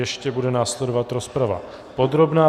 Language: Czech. Ještě bude následovat rozprava podrobná.